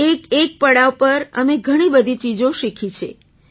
એકએક પડાવ પર અમે ઘણી બધી ચીજો શીખી છે